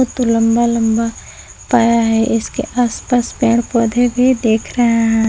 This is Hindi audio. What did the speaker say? तो लंबा लंबा पाया है इसके आसपास पेड़ पौधे भी दिख रहे हैं।